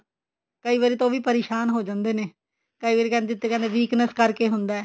ਕਈ ਵਾਰੀ ਤਾਂ ਉਹ ਵੀ ਪਰੇਸ਼ਾਨ ਹੋ ਜਾਂਦੇ ਨੇ ਕਈ ਵਾਰੀ ਕਹਿੰਦੇ weakness ਕਰਕੇ ਹੁੰਦਾ